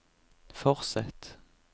fortsett